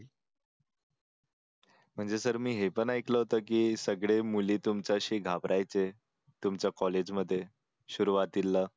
म्हणजे सर मी हे पण ऐकलं होतं की सगळे मुली तुमच्याशी घाबरायचे तुमच्या कॉलेजमध्ये सुरुवातीला